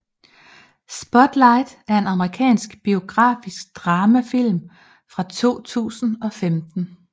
Spotlight er en amerikansk biografisk dramafilm fra 2015